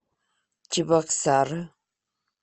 чебоксары